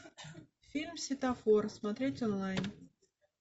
фильм светофор смотреть онлайн